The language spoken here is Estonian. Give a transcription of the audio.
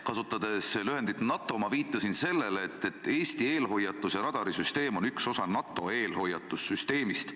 Kasutades lühendit NATO, ma viitasin sellele, et Eesti eelhoiatuse radarisüsteem on üks osa NATO eelhoiatussüsteemist.